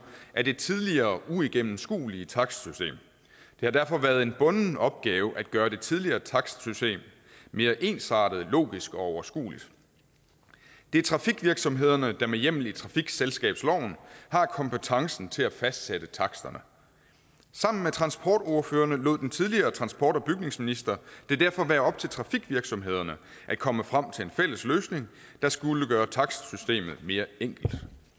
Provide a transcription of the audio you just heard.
af det tidligere uigennemskuelige takstsystem det har derfor været en bunden opgave at gøre det tidligere takstsystem mere ensartet logisk og overskueligt det er trafikvirksomhederne der med hjemmel i trafikselskabsloven har kompetencen til at fastsætte taksterne sammen med transportordførerne lod den tidligere transport og bygningsminister det derfor være op til trafikvirksomhederne at komme frem til en fælles løsning der skulle gøre takstsystemet mere enkelt